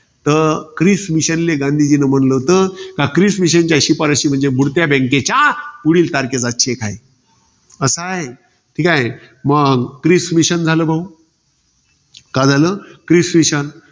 तर Cripps mission ले गांधीजीनी म्हंटल होतं. का क्रिस mission च्या शिफारशा म्हणजे बुडत्या bank च्या पुढील तारखेचा cheque आहे. कसय. ठीके. मग क्रिस mission झालं बघून. का झालं? Cripps mission